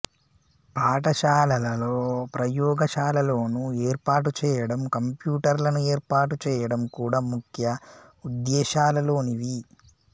పాఠశాలలలో ప్రయోగశాలలను ఏర్పాటుచేయడం కంప్యూటర్లను ఏర్పాటుచేయడం కూడా ముఖ్య ఉద్దేశ్యాలలోనివి